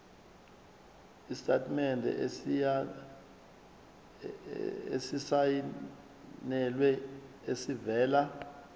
isitatimende esisayinelwe esivela